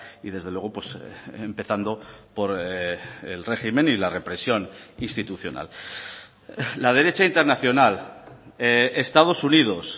y desde luego empezando por el régimen y la represión institucional la derecha internacional estados unidos